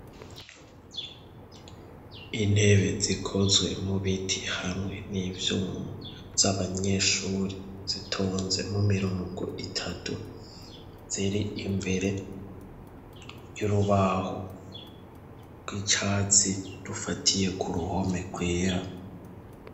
Intebe zikozwe mu biti hamwe n'ivyuma z'abanyeshuri zitonze mu mirongo itatu, ziri imbere y'urubaho rw'icatsi rufatiye ku ruhome rwera.